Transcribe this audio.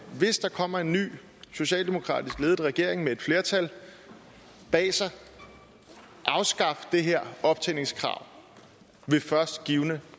hvis der kommer en ny socialdemokratisk ledet regering med et flertal bag sig afskaffe det her optjeningskrav ved først givne